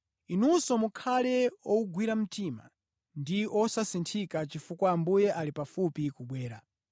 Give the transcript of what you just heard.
Inunso mukhale owugwira mtima ndi osasinthika chifukwa Ambuye ali pafupi kubwera.